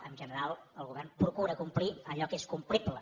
en general el govern procura complir allò que és complible